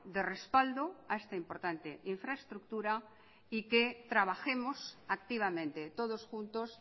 de respaldo a esta importante infraestructura y que trabajemos activamente todos juntos